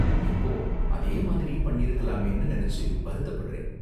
இப்போ, அதே மாதிரியே பண்ணிருக்கலாமேனு நினைச்சு வருத்தப்படறேன்.